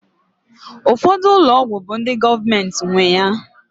Ụfọdụ ụlọ ọgwụ bụ ndị gọọmenti nwe ya